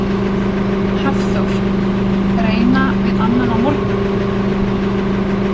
Hafþór: Reyna við annan á morgun?